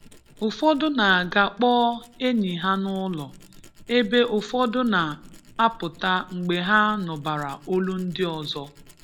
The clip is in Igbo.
Ụfọdụ na-aga kpọọ enyi ha n’ụlọ, ebe ụfọdụ na-apụta mgbe ha nụbara olu ndị ọzọ.